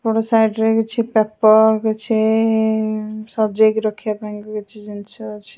ଏପଟ ସାଇଟ ରେ କିଛି ପେପର କିଛି ଇ ସଜେଇକି ରଖିବା ପାଇଁ କିଛି ଜିନିଷ ଅଛି ।